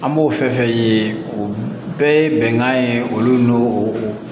An b'o fɛn fɛn ye o bɛɛ ye bɛnkan ye olu n'o